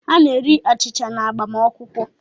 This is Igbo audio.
A na-eri achịcha n’agbamakwụkwọ